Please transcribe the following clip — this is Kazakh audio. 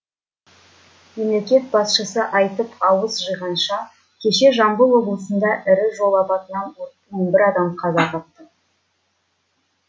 мемлекет басшысы айтып ауыз жиғанша кеше жамбыл облысында ірі жол апатынан он бір адам қаза тапты